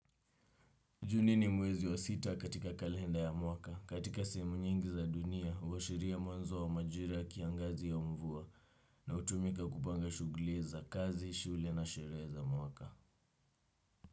Juni ni mwezi wa sita katika kalenda ya mwaka, katika sehemu nyingi za dunia, huashiria mwanzo wa majira ya kiangazi au mvua, na hutumika kupanga shughuli za kazi, shule na sherehe za mwaka.